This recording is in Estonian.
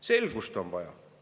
Selgust on vaja.